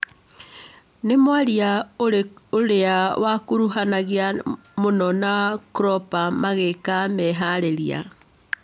Nĩ mwaria ũrĩa wĩkuruhanagia mũno na klopp magĩĩka meharĩrĩria